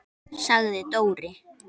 sagði Dóri.